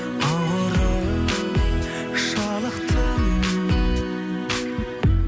ауырып жалықтым